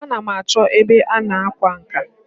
A na m achọ ebe a na-akwa nka.